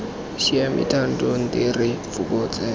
siame thando nte re fokotse